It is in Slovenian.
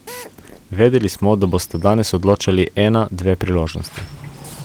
Vedeli smo, da bosta danes odločali ena, dve priložnosti.